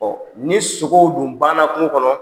ni sogow dun banna kungo kɔnɔ,